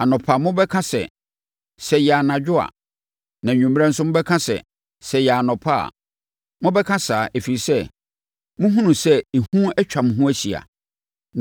Anɔpa mobɛka sɛ, “Sɛ ɛyɛɛ anadwo a!” Na anwummerɛ nso mobɛka sɛ, “Sɛ ɛyɛɛ anɔpa a!” Mobɛka saa, ɛfiri sɛ, mohunu sɛ ehu atwa mo ho ahyia.